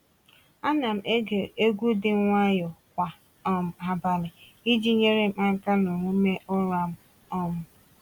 Ana m ege egwu dị nwayọọ kwa um abalị iji nyere m aka n’omume ụra m. um